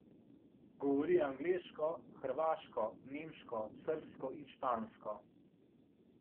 Govori angleško, hrvaško, nemško, srbsko in špansko.